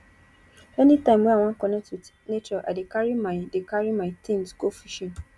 anytime wey i wan connect wit nature i dey carry my dey carry my tins go fishing